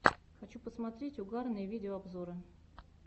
хочу посмотреть угарные видеообзоры